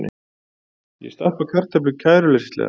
Ég stappa kartöflu kæruleysislega.